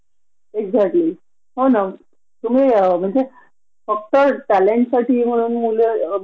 की नेहमी बॉस च्या कपाळाला आठ्या असतात ग ती पेड लीव असते न गव्हरमेन्ट मध्ये टी पेड लीव आहे